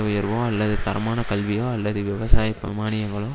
உயர்வோ அல்லது தரமான கல்வியோ அல்லது விவசாய மாணியங்களோ